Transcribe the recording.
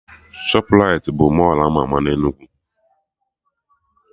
Shọprait bụ Mọlụ ama ama na Enugu